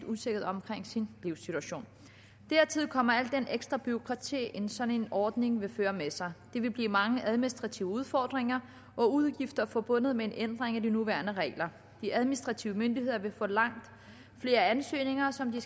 usikkerhed omkring sin livssituation dertil kommer alt det ekstra bureaukrati sådan en ordning vil føre med sig der vil blive mange administrative udfordringer og udgifter forbundet med en ændring af de nuværende regler de administrative myndigheder vil få langt flere ansøgninger som de